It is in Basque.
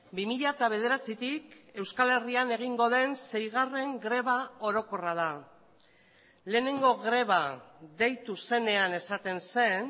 bi mila bederatzitik euskal herrian egingo den seigarren greba orokorra da lehenengo greba deitu zenean esaten zen